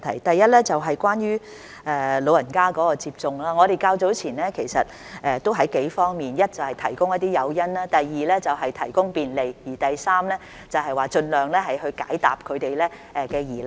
第一，關於長者接種疫苗的情況，我們較早前已從幾方面着手：第一，是提供一些誘因；第二，是提供便利；第三，是盡量解答他們的疑難。